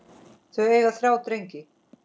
Þau eiga þrjá drengi.